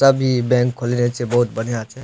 तब इ बैंक खोलने छै बहुत बढ़िया छै।